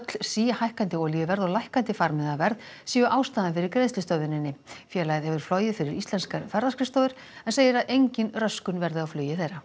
síhækkandi olíuverð og lækkandi farmiðaverð séu ástæðan fyrir greiðslustöðvuninni félagið hefur flogið fyrir íslenskar ferðaskrifstofur en segir að engin röskun verði á flugi þeirra